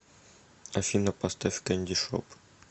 афина поставь кэнди шоп